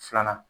Filanan